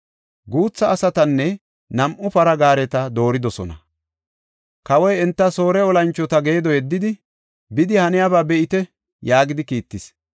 Guutha asatanne nam7u para gaareta dooridosona. Kawoy enta Soore olanchota geedo yeddidi, “Bidi haniyaba be7ite” yaagidi kiittis.